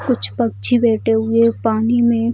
कुछ पक्छी बैठे हुए पानी में --